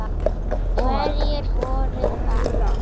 Hverjir voru það?